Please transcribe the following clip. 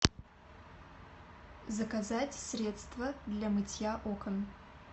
заказать средство для мытья окон